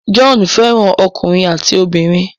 John fẹ́ràn ọkùnrin àti obìnrin.